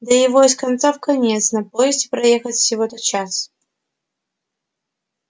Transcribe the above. да его из конца в конец на поезде проехать всего-то час